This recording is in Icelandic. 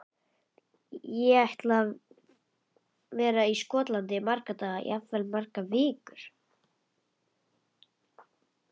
Ég ætla að vera í Skotlandi í marga daga, jafnvel í margar vikur.